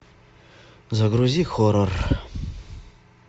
загрузи хоррор